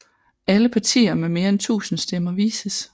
Alle partier med mere end 1000 stemmer vises